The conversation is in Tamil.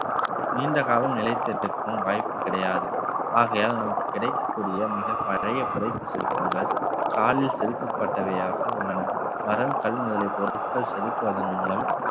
நீண்ட காலம் நிலைத்திருக்கும் வாய்ப்பு கிடையாது ஆகையால் நமக்கு கிடைக்கக்கூடிய மிகப் பழைய புடைப்பு சிற்பங்கள் காலில் செதுக்கப்பட்டவையாக உள்ளன மரம் கல் முதலிய பொருட்கள் செதுக்குவதன் மூலம்